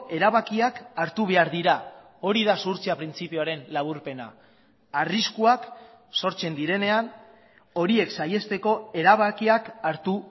erabakiak hartu behar dira hori da zuhurtzia printzipioaren laburpena arriskuak sortzen direnean horiek saihesteko erabakiak hartu